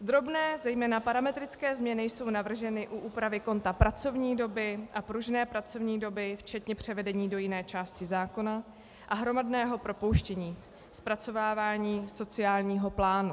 Drobné, zejména parametrické změny jsou navrženy u úpravy konta pracovní doby a pružné pracovní doby včetně převedení do jiné části zákona a hromadného propouštění, zpracovávání sociálního plánu.